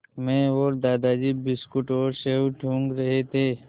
मैं और दादाजी बिस्कुट और सेब टूँग रहे थे